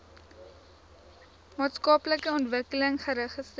maatskaplike ontwikkeling registreer